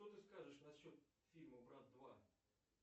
что ты скажешь насчет фильма брат два